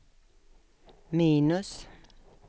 minus